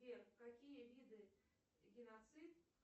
сбер какие виды геноцид